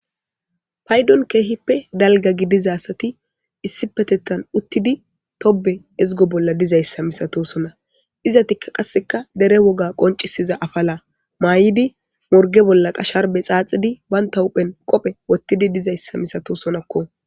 Paydon keehippe dalga gidiza asati issi petettan uttidi tobe ezgo bolla dizayssa misato sona iza tikka qasseka dere woga qoncisiza afala maay7idi morge bolla qasharbe xaaxidi baynta huphen qophe wottidi dizayssa misato sonakko.